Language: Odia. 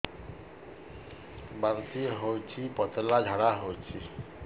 ବାନ୍ତି ହଉଚି ପତଳା ଝାଡା ହଉଚି